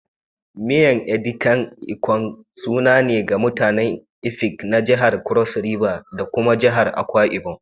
Miyan Edikang ikong sananne ne ga mutanen Efik na jihar Cross River da kuma jihar Akwa Ibom